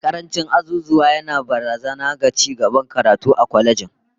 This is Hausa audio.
Ehh, karancin azuzuwa yana barazana ga cigaban karatu a kwalejin